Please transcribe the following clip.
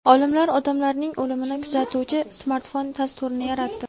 Olimlar odamlarning o‘limini kuzatuvchi smartfon dasturini yaratdi.